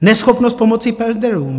Neschopnost pomoci pendlerům.